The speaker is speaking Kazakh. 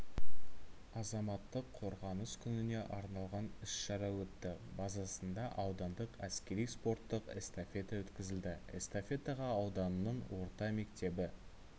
азаматтық қорғаныс күніне арналған іс-шара өтті базасында аудандық әскери-спортттық эстафета өткізілді эстафетаға ауданның орта мектебі